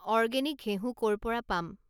organic ঘেঁহু ক'ৰ পৰা পাম